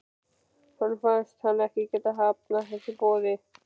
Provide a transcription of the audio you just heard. Honum finnst hann ekki geta hafnað þessu boði.